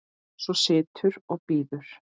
Svo situr og bíður.